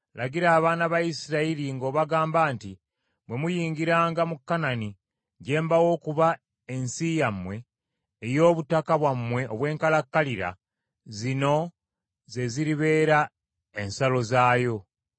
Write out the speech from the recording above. “Lagira abaana ba Isirayiri ng’obagamba nti, ‘Bwe muyingiranga mu Kanani, gye mbawa okuba ensi yammwe ey’obutaka bwammwe obw’enkalakkalira, zino ze ziribeera ensalo zaayo: